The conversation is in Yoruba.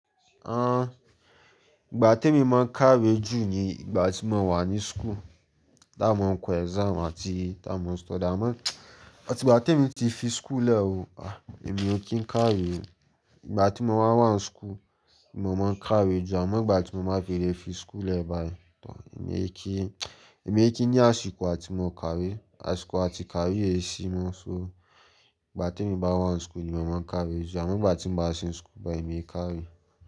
Ah, ìgbà tí mo máa ń kàwé jù ni ìgbà tí mo wà ní school, tí a mo ń kọ exam àti tí a mo ń study. Àmọ́ tí ìgbà tí èmi ti fi school lẹ̀ oo, ah èmi ò kí ń kàwé oo. Ìgbà tí mo máa ń wà ní school ni mo máa ń kàwé jù, àmọ́ ìgbà tí mo bá file fi school lẹ̀ báyìí tán, èmi kí, èmi kí ní àsìkò àti mo kàwé, àsìkò àti kàwé yé sí mi. So ìgbà tí èmi bá wà ní school ni mo máa ń kàwé jù, àmọ́ ìgbà tí mo bá sin school báyìí èmi e kí kàwé.